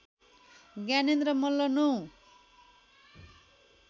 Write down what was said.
Gyanendra Malla ९